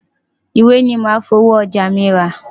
Ìwé ni màá fi owó àjọ mi rà.